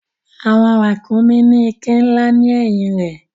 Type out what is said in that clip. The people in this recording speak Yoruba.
Àwọn ràkúnmí ní iké ńlá ni ẹ̀yìn rẹ̀.